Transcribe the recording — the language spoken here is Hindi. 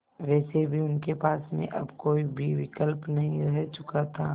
वैसे भी उनके पास में अब कोई भी विकल्प नहीं रह चुका था